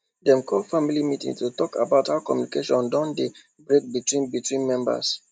dem call family meeting to talk about how communication don dey break between between members